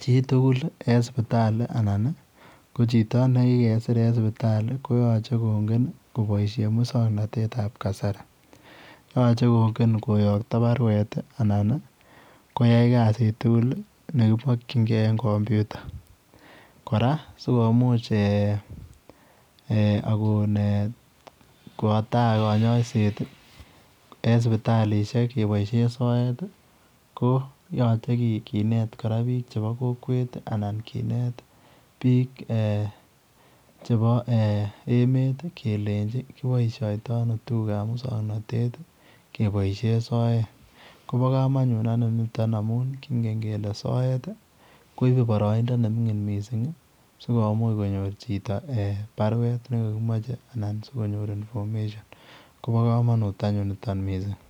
chii tugul en sipitali ko chitoo ne kigesiir en sipitali ko yachee kongen koyaktoi baruet ii anan ii koyai kasiit tugul neimakyiigei en kompyuta kora sikomuuch akoon eeh kowaa taa kanyaiseet I en sipitalishek kebaisheen soet ii ko yachee kinet kora biik chebo komwet ii anan yache kineet biik che boo eeh emeet ii kelenjiin kibaishaitoi ano tuguuk ab musangnatet ii kebaisheen soet kobaa kamanut anyuun nitoonn amuun kingeen kele soet ii koibee baraindaa nemingin missing sikomuuch konyoor chito baruet nekakimachei anan sikonyor [information] kobaa kamanut anyuun nitoon missing.